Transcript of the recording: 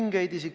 Härra Helme!